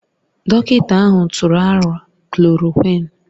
Dọkịta ahụ tụrụ aro klòròkwịn